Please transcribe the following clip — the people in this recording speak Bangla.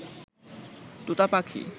তোতা পাখি